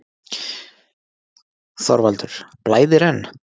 ÞORVALDUR: Blæðir enn?